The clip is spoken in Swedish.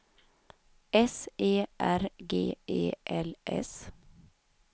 S E R G E L S